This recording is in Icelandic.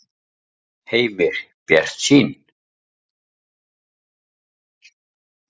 Heimir: Bjartsýn?